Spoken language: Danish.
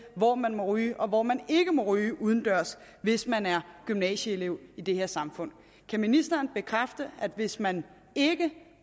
hvor man må ryge og hvor man ikke må ryge udendørs hvis man er gymnasieelev i det her samfund kan ministeren bekræfte at hvis man ikke